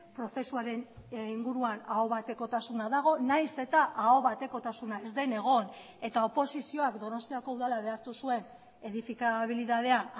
prozesuaren inguruan ahobatekotasuna dago nahiz eta ahobatekotasuna ez den egon eta oposizioak donostiako udala behartu zuen edifikabilidadea